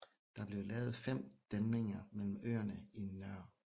Der blev lavet fem dæmninger mellem øerne i Nr